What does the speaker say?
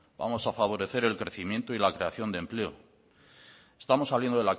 vamos a favorecer el crecimiento y la creación de empleo estamos saliendo